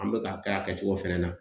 An be ka kɛ a kɛcogo fɛnɛ na.